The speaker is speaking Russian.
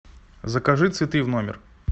закажи цветы в номер